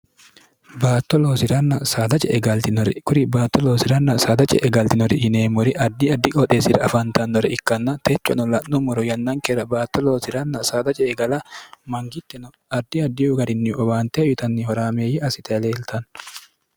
baatto loosiranna saada ce'e galtinori kuri baatto loosirenna saada ce'e galtinori yineemmori addi addi qoxeessira afantannore ikkanna techono la'nummoro yannankeera baatto loosi'ranna saada ce'e gala mangittino addi addi garinni owaante uyitanni horaameeyye assite leeltanno